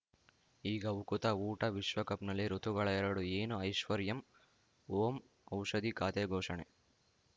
ಈಗ ಉಕುತ ಊಟ ವಿಶ್ವಕಪ್‌ನಲ್ಲಿ ಋತುಗಳು ಎರಡು ಏನು ಐಶ್ವರ್ಯಾಂ ಓಂ ಔಷಧಿ ಖಾತೆ ಘೋಷಣೆ